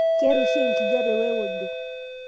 keeta oshi enkijape weojo.